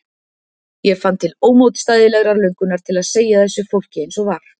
Ég fann til ómótstæðilegrar löngunar til að segja þessu fólki eins og var.